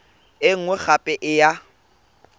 e nngwe gape e ya